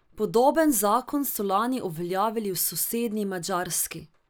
Podoben zakon so lani uveljavili v sosednji Madžarski.